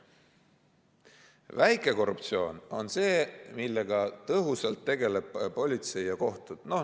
Väike korruptsioon on see, millega tõhusalt tegelevad politsei ja kohtud.